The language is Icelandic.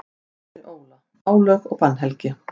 Árni Óla: Álög og bannhelgi.